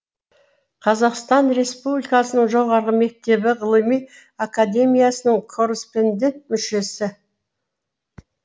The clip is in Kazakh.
қазақстан республикасының жоғарғы мектебі ғылыми академиясының корреспондент мүшесі